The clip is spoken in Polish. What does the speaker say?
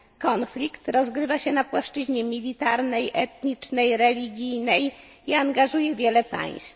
kraje. Konflikt rozgrywa się na płaszczyźnie militarnej, etnicznej, religijnej i angażuje wiele